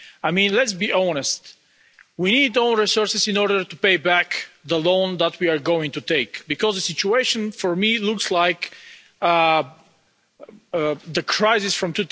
I mean, let's be honest, we need own resources in order to pay back the loan that we are going to take, because the situation for me looks like the crisis of